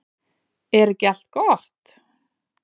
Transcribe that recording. Er ekki allt gott?